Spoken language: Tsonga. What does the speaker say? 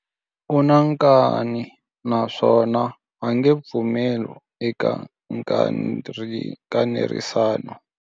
U na nkani naswona a nge pfumeli eka nkanerisano.